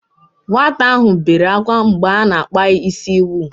Nwata ahụ bere ákwá mgbe a na-akpa ya ísí wuull.